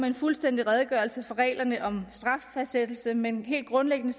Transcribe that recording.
en fuldstændig redegørelse for reglerne om straffastsættelse men helt grundlæggende